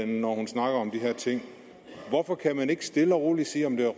når hun snakker om de her ting hvorfor kan man ikke stille og roligt sige om det